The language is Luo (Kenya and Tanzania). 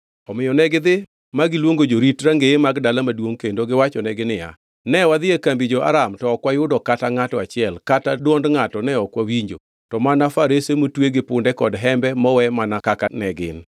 Omiyo negidhi magiluongo jorit rangeye mag dala maduongʼ kendo giwachonegi niya, “Ne wadhi e kambi jo-Aram to ok wayudo kata ngʼato achiel kata dwond ngʼato ne ok wawinjo to mana farese motwe gi punde kod hembe mowe mana kaka ne gin.”